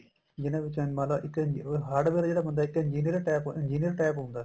ਜਿਨ੍ਹਾਂ ਬੱਚਿਆਂ ਨੇ ਮੰਨਲੋ ਇੱਕ hardware ਜਿਹੜਾ ਬੰਦਾ ਇੱਕ engineer type engineer type ਹੁੰਦਾ